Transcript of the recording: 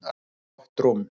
Gott rúm.